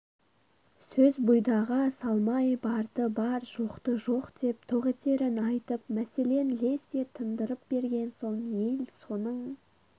сөз бұйдаға салмай барды бар жоқты жоқ деп тоқ етерін айтып мәселен лезде тындырып берген соң ел соның